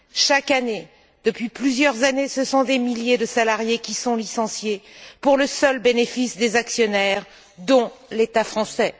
Chaque année, depuis plusieurs années, ce sont des milliers de salariés qui sont licenciés pour le seul bénéfice des actionnaires, dont l'État français.